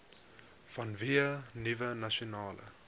vanweë nuwe nasionale